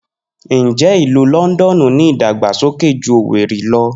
Njẹ Ilu Lọndọnu ni idagbasoke ju Owerri lọ?